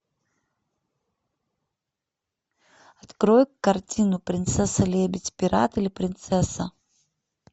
открой картину принцесса лебедь пират или принцесса